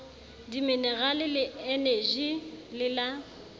diminerale le eneji le la